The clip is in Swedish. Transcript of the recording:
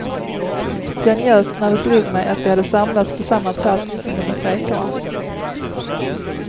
Jag njöt när det slog mig att vi hade samlats på samma plats som under strejkerna.